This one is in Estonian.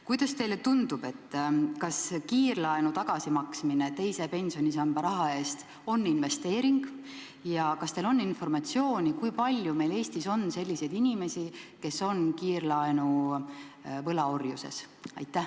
Kuidas teile tundub, kas kiirlaenu tagasimaksmine teise pensionisamba raha eest on investeering ja kas teil on informatsiooni, kui palju meil Eestis on inimesi, kes on kiirlaenu võlaorjuses?